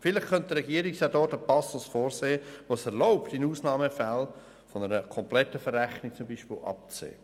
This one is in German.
Vielleicht könnte der Regierungsrat noch einen Passus vorsehen, der es erlaubt, in Ausnahmefällen zum Beispiel von einer kompletten Verrechnung abzusehen.